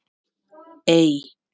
Ey